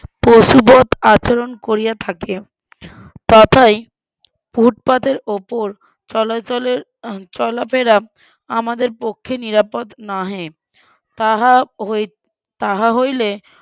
পশুবত আচরণ করিয়া থাকে, তাতেই ফুটপাতের উপর চলাচলের চলাফেরা আমাদের পক্ষে নিরাপদ নহে, তাহা হইতে তাহা হইলে,